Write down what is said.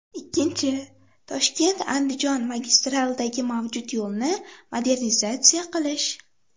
Ikkinchi, ToshkentAndijon magistralidagi mavjud yo‘lni modernizatsiya qilish.